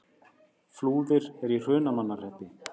Flúðir er í Hrunamannahreppi.